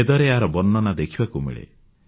ବେଦରେ ଏହାର ବର୍ଣ୍ଣନ ଦେଖିବାକୁ ମିଳେ